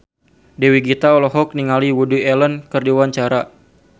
Dewi Gita olohok ningali Woody Allen keur diwawancara